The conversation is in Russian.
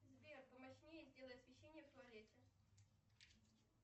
сбер помощнее сделай освещение в туалете